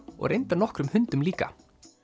og reyndar nokkrum hundum líka